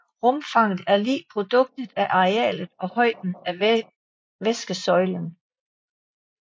Rumfanget er lig produktet af arealet og højden af væskesøjlen